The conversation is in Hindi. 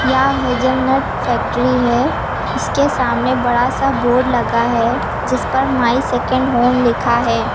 या हेजलनट फैक्ट्री है। इसके सामने बड़ा सा बोर्ड लगा है जिस पर माई सेकंड होम लिखा है।